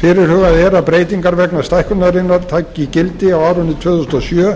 fyrirhugað er að breytingar vegna stækkunarinnar taki gildi á árinu tvö þúsund og sjö